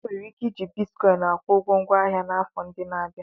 E nwere ike iji Bitkọịn akwụ ụgwọ ngwa ahịa n'afọ ndị na-abịa.